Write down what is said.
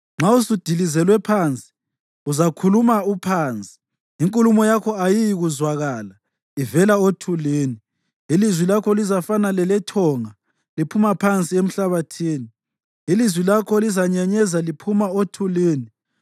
Nxa usudilizelwe phansi, uzakhuluma uphansi, inkulumo yakho ayiyikuzwakala ivela othulini. Ilizwi lakho lizafana lelethonga liphuma phansi emhlabathini. Ilizwi lakho lizanyenyeza liphuma othulini.